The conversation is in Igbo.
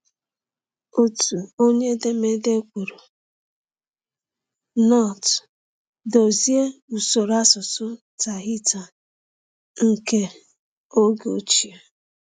Otu onye edemede kwuru: “Nott dozie usoro asụsụ Tahitian nke oge ochie.”